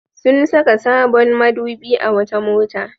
Sun saka sabon madubi a wata mota.